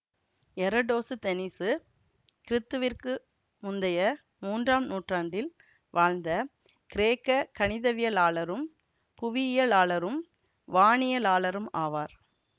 எரடோசுதெனீசு கிறித்துவிற்கு முந்தைய மூன்றாம் நூற்றாண்டில் வாழ்ந்த கிரேக்க கணிதவியலாளரும் புவியியலாளரும் வானியலாளரும் ஆவார்